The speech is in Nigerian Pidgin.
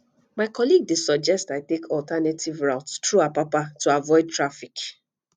my colleague dey suggest i take alternative route through apapa to avoid traffic